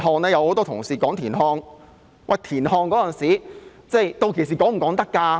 有很多同事提及田漢，屆時能否提及他呢？